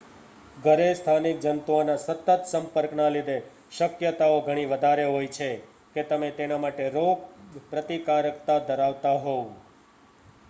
ઘરે સ્થાનિક જંતુઓના સતત સંપર્ક ના લીધે શક્યતાઓ ઘણી વધારે છે કે તમે તેના માટે રોગ પ્રતિકારકતા ધરાવતા હોવ